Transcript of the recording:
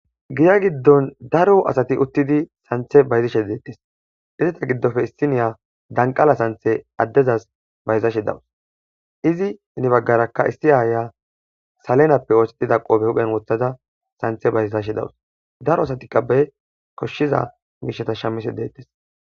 giya giddon daro asati uttidi santhe bayzishe deettes izita giddofe isiniya danqala santhe addezas bayzashe dawus izi heni baggarakka issi aaya salenappe oosetida qoobe huphen wothaza santhe bayzashe dawus daro asatiqa bey koshshiza miisheta shamise deettes